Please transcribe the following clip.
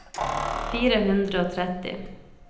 fire hundre og tretti